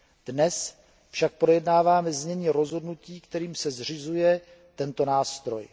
Dnes však projednáváme znění rozhodnutí, kterým se zřizuje tento nástroj.